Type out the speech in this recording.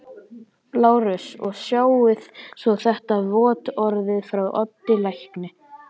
LÁRUS: Og sjáið svo þetta vottorð frá Oddi lækni.